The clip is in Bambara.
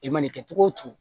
I man'i kɛ cogo o cogo